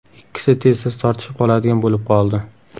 Ikkisi tez-tez tortishib qoladigan bo‘lib qoldi.